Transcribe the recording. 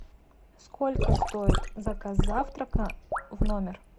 сколько стоит заказ завтрака в номер